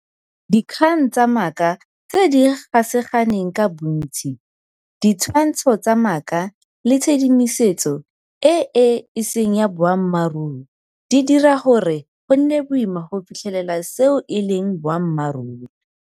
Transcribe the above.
Di kgang tsa maaka tse di ga saganeng ka bontsi, ditshwantsho tsa maaka le tshedimosetso e e seng ya boammaruri di dira gore go nne boima go fitlhelela seo e leng boammaruri.